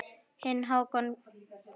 Þinn Hákon Gauti.